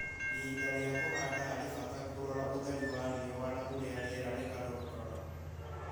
Ihinda rĩa kũhanda harĩ bata kũrora ũtheri wa riũa na ũrĩa rĩera rĩgarũrũkaga.